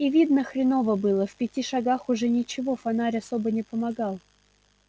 и видно хреново было в пяти шагах уже ничего фонарь особо не помогал